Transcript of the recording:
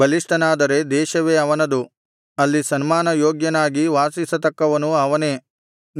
ಬಲಿಷ್ಠನಾದರೆ ದೇಶವೇ ಅವನದು ಅಲ್ಲಿ ಸನ್ಮಾನ ಯೋಗ್ಯನಾಗಿ ವಾಸಿಸತಕ್ಕವನು ಅವನೇ